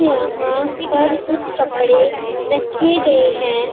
यहां पर कुछ कपड़े रखे गए हैं।